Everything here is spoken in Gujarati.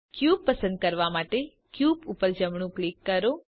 ક્યુબ પસંદ કરવા માટે ક્યુબ ઉપર જમણું ક્લિક કરો